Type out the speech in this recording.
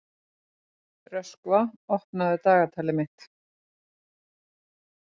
Að vori vakna þær úr löngum vetrardvalanum og hefja uppbyggingu á nýju búi.